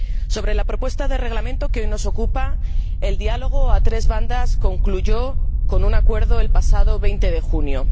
Sobre la propuesta de Reglamento que hoy nos ocupa, el diálogo a tres bandas concluyó con un acuerdo el pasado 20 de junio